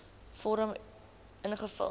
vorm uf invul